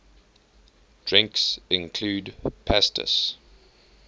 drinks include pastis